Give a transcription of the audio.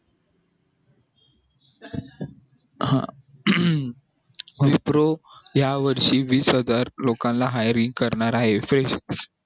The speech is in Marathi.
हा विप्रो या वर्षी वीस हजार लोकांना hiring करणार आहे